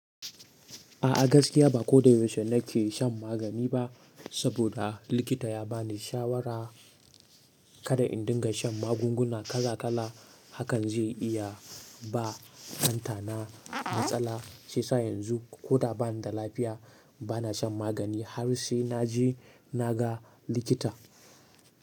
A'a gaskiya ba ko da yaushe nake shan magani ba, saboda likita ya bani shawara kada in dinga shan magunguna kala kala, hakan zai iya ba ɗantana matsala, shi sa yanzu ko da bana da lafiya bana shan magani har sai naje naga likita.